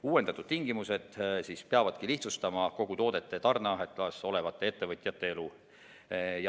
Uuendatud tingimused peavad lihtsustama toodete tarneahelas olevate ettevõtete elu.